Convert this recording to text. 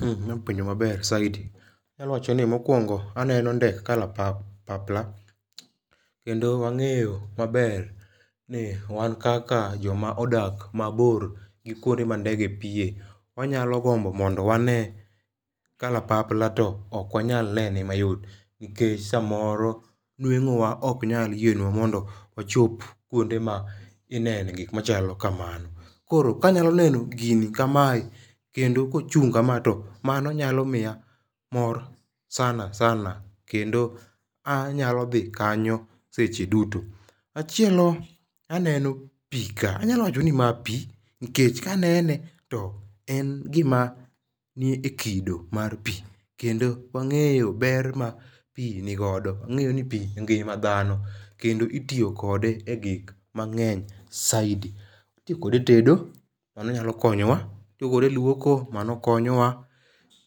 Ipenjo penjo maber saidi anyalo wacho ni mokwongo aneno ndek kalapap pla kendo wang'eyo maber ni wan kaka jomodak maboro gi kuonde ma ndege piye wanyalo gombo mondo wane kalapapla to ok wanya nene mayot nikech samoro nwengo wa ok nyal yienwa wachop kuonde minene gik machalo kamano. Koro kanyalo neno gini kamae kendo kochung' kama to mano nyalo miya mor sana sana kendo anyalo dhi kanyo seche duto. Machielo aneno pii kae anyalo wacho ni maa pii nikech kanene to en gima nie kido mar pii kendo wang'eyo ber ma pii nigodo. Wangeyo ni pii e ngima dhano kendo itiyo kode e gik mang'eny saidi itiyo kode e tedo mano onyalo konyowa itiyo kode e luoko mano okonyowa